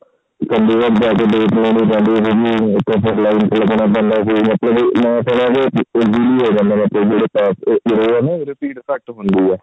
ਉਹਦੀ fees ਘੱਟ ਹੰਦੀ ਆ